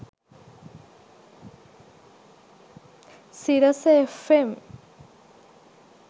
sirasafm